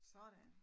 Sådan